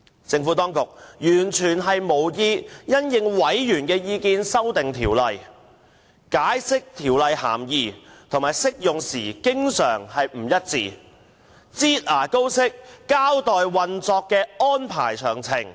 政府當局完全無意因應委員意見修訂《條例草案》，對《條例草案》的涵義和適用範圍的解釋經常不一致，又以"擠牙膏"方式交代運作安排詳情。